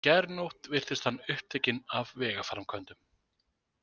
Í gærnótt virtist hann upptekinn af vegaframkvæmdum.